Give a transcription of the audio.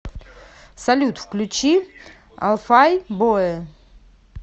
салют включи алфай бое